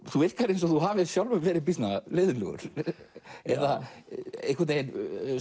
þú virkar eins og þú hafir sjálfur verið býsna leiðinlegur eða einhvern veginn